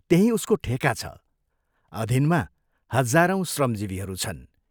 त्यहीं उसको ठेका छ, अधीनमा हजारौं श्रमजीवीहरू छन्।